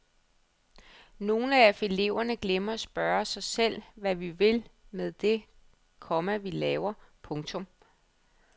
Nogle af eleverne glemmer at spørge sig selv hvad vi vil med det, komma vi laver. punktum